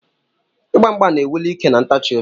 Igba mgba na-ewuli ike na ntachi obi.